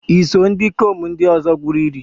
Iso ndikom ndi ozo gwuru ili?